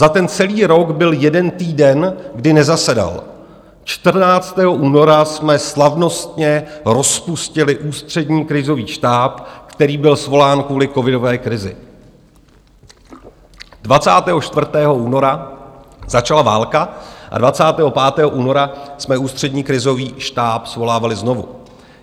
Za ten celý rok byl jeden týden, kdy nezasedal: 14. února jsme slavnostně rozpustili Ústřední krizový štáb, který byl svolán kvůli covidové krizi, 24. února začala válka a 25. února jsme Ústřední krizový štáb svolávali znovu.